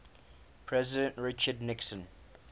president richard nixon